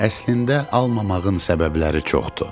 Əslində almamağın səbəbləri çoxdur.